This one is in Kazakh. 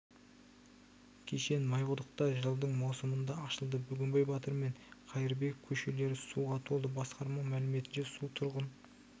кешен майқұдықта жылдың маусымында ашылды бөгенбай батыр мен қайырбеков көшелері суға толды басқарма мәліметінше су тұрғын